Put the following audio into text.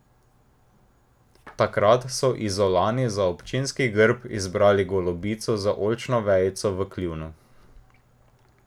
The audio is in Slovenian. Takrat so Izolani za občinski grb izbrali golobico z oljčno vejico v kljunu.